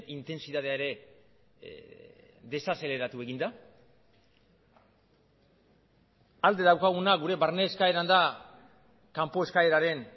intentsitatea ere desazeleratu egin da alde daukaguna gure barne eskaeran da kanpo eskaeraren